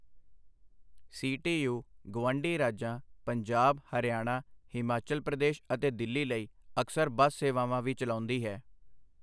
CTU. ਗੁਆਂਢੀ ਰਾਜਾਂ ਪੰਜਾਬ, ਹਰਿਆਣਾ, ਹਿਮਾਚਲ ਪ੍ਰਦੇਸ਼ ਅਤੇ ਦਿੱਲੀ ਲਈ ਅਕਸਰ ਬੱਸ ਸੇਵਾਵਾਂ ਵੀ ਚਲਾਉਂਦੀ ਹੈ।